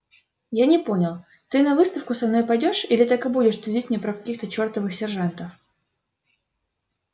я не понял ты на выставку со мной пойдёшь или так и будешь твердить мне про каких-то чертовых сержантов